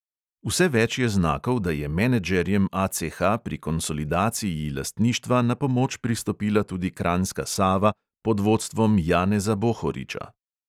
Vse več je znakov, da je menedžerjem ACH pri konsolidaciji lastništva na pomoč pristopila tudi kranjska sava pod vodstvom janeza bohoriča.